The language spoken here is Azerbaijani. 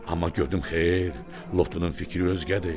Amma gördüm xeyr, lotunun fikri özgədir.